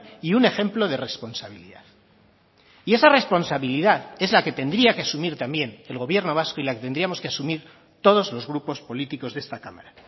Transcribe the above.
y un ejemplo de responsabilidad y esa responsabilidad es la que tendría que asumir también el gobierno vasco y la que tendríamos que asumir todos los grupos políticos de esta cámara